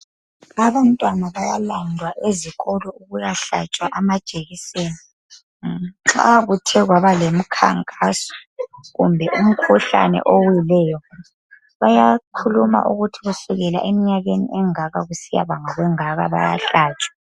Abantwana bayalandwa ezikolo ukuyahlatshwa amajekiseni. Nxa kuthe kwaba lemikhankaso kumbe umkhuhlane owileyo, bayakhuluma ukuthi kusukisela emnyakeni engaka. Kusiyabanga kwengaka, bayahlatshwa.